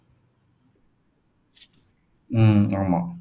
உம் ஆமா